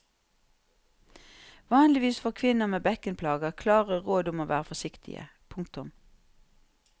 Vanligvis får kvinner med bekkenplager klare råd om å være forsiktige. punktum